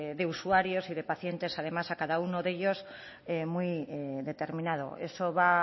de usuarios y de pacientes además a cada uno de ellos muy determinado eso va